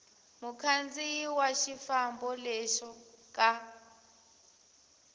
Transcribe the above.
mukhandziyi wa xifambo lexo ka